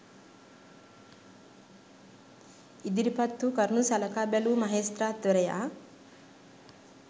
ඉදිරිපත් වූ කරුණු සලකා බැලූ මහෙස්ත්‍රාත්වරයා